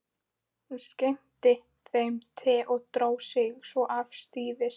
Hún skenkti þeim te og dró sig svo afsíðis.